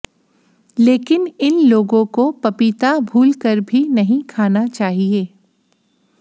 लेकिन इन लोगों को पपीता भूलकर भी नहीं खाना चाहिए